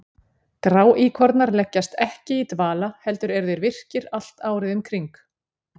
Gráíkornar leggjast ekki í dvala heldur eru þeir virkir allt árið um kring.